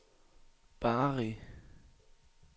Bari